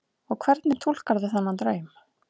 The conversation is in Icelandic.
Og hvernig túlkarðu þennan draum?